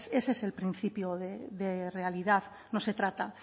ese es el principio de realidad no se trata